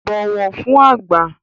Bọ̀wọ̀ fün àgbà!